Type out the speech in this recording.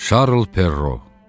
Şarl Perro.